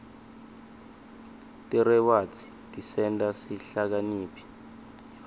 tirewadzi tisenta sihlakaniphe